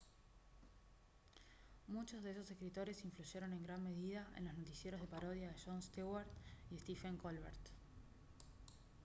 muchos de esos escritores influyeron en gran medida en los noticiarios de parodia de jon stewart y stephen colbert